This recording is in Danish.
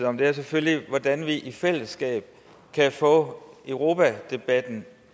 om er selvfølgelig hvordan vi i fællesskab kan få europadebatten